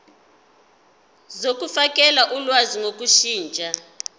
zokufakela ulwazi ngokushintsha